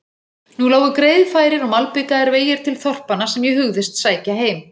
Nú lágu greiðfærir og malbikaðir vegir til þorpanna sem ég hugðist sækja heim